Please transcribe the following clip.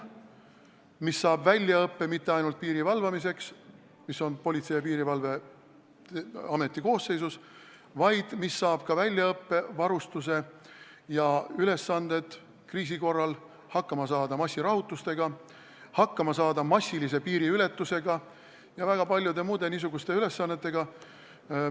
Seal saadakse väljaõpe mitte ainult piiri valvamiseks – see kuulub Politsei- ja Piirivalveameti koosseisu –, vaid antakse ka väljaõpe ja varustus, et kriisi korral hakkama saada massirahutustega, massilise piiriületusega ja väga paljude muude niisuguste ülesannetega.